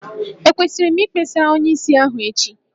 Ekwesịrị m Ikpesara onyeisi ahụ echi?